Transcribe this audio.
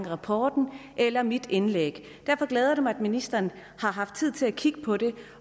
rapporten eller mit indlæg derfor glæder det mig at ministeren har haft tid til at kigge på det